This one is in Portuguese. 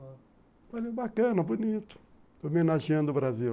Olha só, bacana, bonito, homenageando o Brasil.